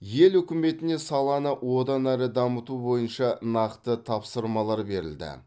ел үкіметіне саланы одан әрі дамыту бойынша нақты тапсырмалар берілді